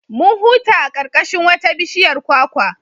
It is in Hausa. Mun huta a ƙarƙashin wata bishiyar kwakwa.